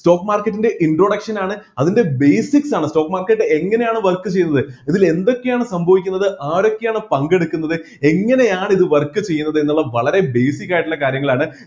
stock market ൻ്റെ introduction ആണ് അതിൻ്റെ basics ആണ് stock market എങ്ങനെയാണ് work ചെയ്യുന്നത് ഇതിൽ എന്തൊക്കെയാണ് സംഭവിക്കുന്നത് ആരൊക്കെയാണ് പങ്കെടുക്കുന്നത് എങ്ങനെയാണ് ഇത് work ചെയ്യുന്നത് എന്നുള്ള വളരെ basic ആയിട്ടുള്ള കാര്യങ്ങളാണ്